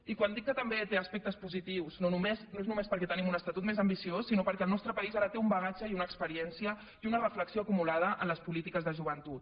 i quan dic que també té aspectes positius no és només perquè tenim un estatut més ambiciós sinó perquè el nostre país ara té un bagatge i una experiència i una reflexió acumulada en les polítiques de joventut